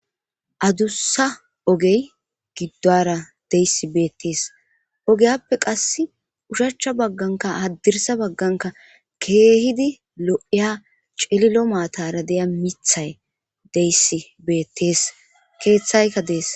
adussa ogey giddora deyssi beettees ogeyappe qass ushachcha bagganka haddirsa bagganka keehidi lo7iya cililo maatara deya mithay deyssi beettees keeththaykka dees